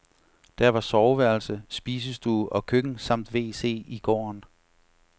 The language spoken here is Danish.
Der var soveværelse, spisestue og køkken samt wc i gården.